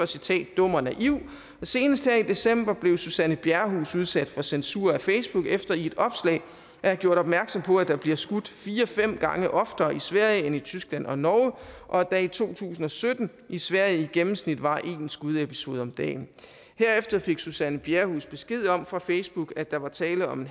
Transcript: citerer dum og naiv og senest her i december blev suzanne bjerrehuus udsat for censur af facebook efter i et opslag havde gjort opmærksom på at der bliver skudt fire fem gange oftere i sverige end i tyskland og norge og at der i to tusind og sytten i sverige i gennemsnit var en skudepisode om dagen herefter fik suzanne bjerrehuus besked om fra facebook at der var tale om en